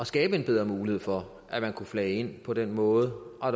skabe en bedre mulighed for at man kunne flage ind på den måde og